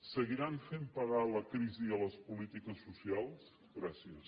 seguiran fent pagar la crisi a les polítiques socials gràcies